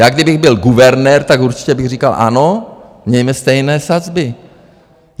Já kdybych byl guvernér, tak určitě bych říkal ano, mějme stejné sazby.